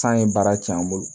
San ye baara cɛn an bolo